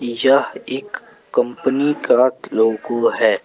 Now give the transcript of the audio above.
यह एक कंपनी का लोगो है।